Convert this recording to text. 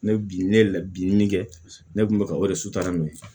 Ne bi ne ye bin min kɛ ne kun bɛ ka o de sutura min